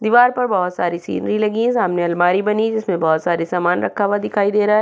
दिवार पर बोहोत सारी सीनेरी लगी है सामने अलमारी बनी है जिसमे बोहोत सारे सामान रखा हुआ दिखाई दे रहा है।